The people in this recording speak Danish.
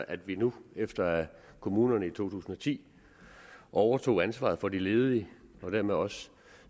at vi nu efter at kommunerne i to tusind og ti overtog ansvaret for de ledige og dermed også